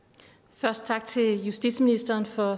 først tak til justitsministeren for